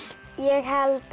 ég held